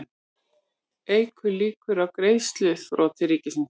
Eykur líkur á greiðsluþroti ríkisins